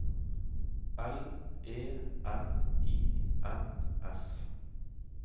L E N I N S